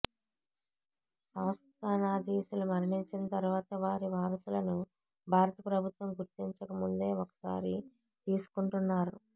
సంస్థానాధీశులు మరణించినతరువాత వారి వారసులను భారత ప్రభుత్వం గుర్తించక ముందే ఒక సారి తీసుకుంటున్నారు